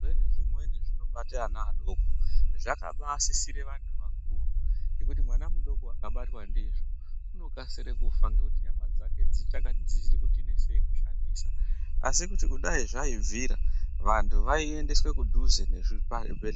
Zvirwere zvimweni zvinobata ana adoko zvakabasisira vanhtu vakuru ngekuti mwana mudoko akabatwa ndizvo unokasira kufa ngekuti nyama dzake dzichikuti nesei kushandisa asi kuti dai zvaibvira vantu vaiendeswa kudhuze nezvibhedhlera.